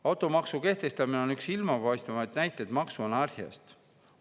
Automaksu kehtestamine on üks silmapaistvamaid näiteid maksuanarhiast.